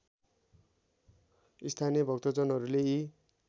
स्थानीय भक्तजनहरूले यी